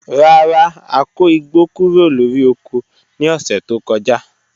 Rara, a ko igbo kuro lori oko ni ọsẹ to kọja